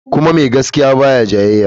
Kuma mai gaskiya ba ya jayayya.